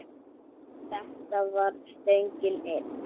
Þetta var stöngin inn!